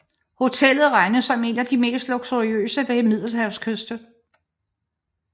Hotellet regnes som et af de mest luksuriøse ved middelhavskysten